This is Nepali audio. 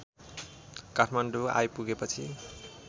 काठमाडौँ आइपुगे पछि